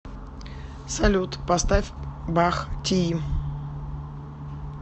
салют поставь бах тии